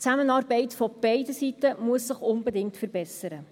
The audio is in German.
Die Zusammenarbeit muss sich unbedingt von beiden Seiten verbessern.